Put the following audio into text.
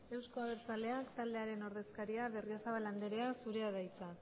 euzko abertzaleak taldearen ordezkaria berriozabal andrea zurea da hitza